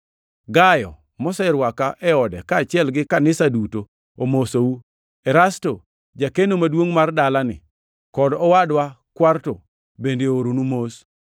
Gayo, moserwaka e ode, kaachiel gi kanisa duto, omosou. Erasto, jakeno maduongʼ mar dalani, kod owadwa Kwarto bende ooronu mos. [ 24 Mad ngʼwono mar Ruodhwa Yesu Kristo obed kodu un duto. Amin.] + 16:24 Loko moko machon mag Muma onge gi \+xt Rum 16:24\+xt*.